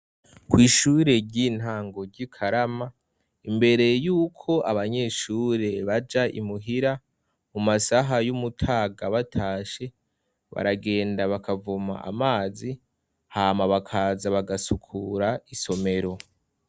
Ko'ishure ry'intango ry'i karama imbere yuko abanyeshure baja imuhira mu masaha y'umutaga batashe baragenda bakavuma amazi hama bakaza bagasukura isomero.